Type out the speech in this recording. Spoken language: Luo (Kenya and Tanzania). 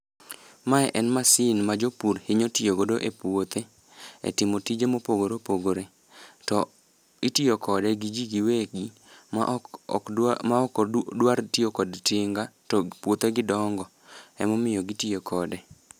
Mae en masin ma jopur hinyo tiyo godo e puothe e timo tije mopogore opogore to itiyo kode gi jii giwegi ma ok ok dwa ma ok odwar tiyo kod tinga to puothe gi dongo emomiyo gitiyo kode.